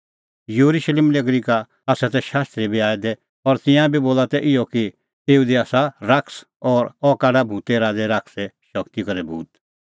येरुशलेम नगरी का तै शास्त्री बी आऐ दै और तिंयां बी बोला तै इहअ कि एऊ दी आसा शैतान और अह काढा भूते राज़ै शैताने शगती करै भूत